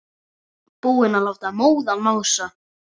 Búinn að láta móðan mása.